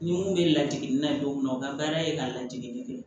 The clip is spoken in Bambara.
Ni mun bɛ ladege na ye don min na u ka baara ye ka ladege ye